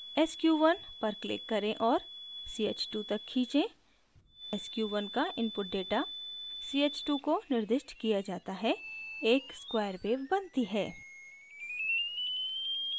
sq1 पर click करें और ch2 तक खींचें sq1 का input data ch2 को निर्दिष्ट किया data है एक square wave बनती है